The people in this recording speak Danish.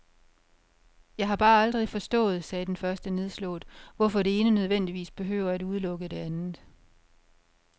Jeg har bare aldrig forstået, sagde den første nedslået, hvorfor det ene nødvendigvis behøver at udelukke det andet.